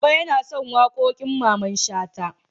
Baba yana son waƙoƙin Mamman Shata.